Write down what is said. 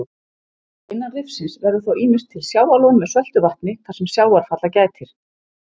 Innan rifsins verður þá ýmist til sjávarlón með söltu vatni þar sem sjávarfalla gætir.